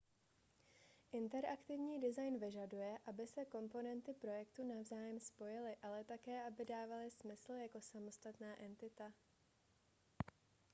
interaktivní design vyžaduje aby se komponenty projektu navzájem spojily ale také aby dávaly smysl jako samostatná entita